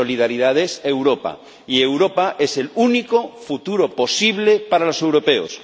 Solidaridad es Europa, y Europa es el único futuro posible para los europeos.